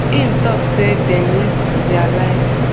im tok say dem risk dia life